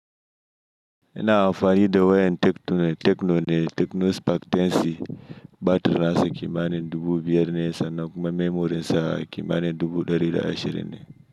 Ina amfani da wayan tecno ne, tecno spark ten C, batirinsa kimanin dubu biyar sannan memorin sa kimanin dubu ɗari da ashirin ne.